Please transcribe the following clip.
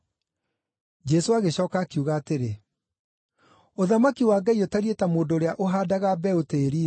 Jesũ agĩcooka akiuga atĩrĩ, “Ũthamaki wa Ngai ũtariĩ ta mũndũ ũrĩa ũhaandaga mbeũ tĩĩri-inĩ.